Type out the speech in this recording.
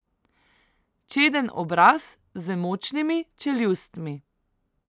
Čeden obraz z močnimi čeljustmi.